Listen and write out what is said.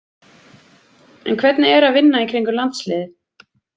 En hvernig er að vinna í kringum landsliðið?